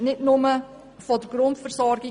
Das betrifft nicht nur die Grundversorgung.